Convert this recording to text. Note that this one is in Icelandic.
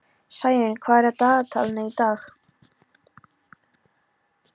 Sæunn, hvað er í dagatalinu í dag?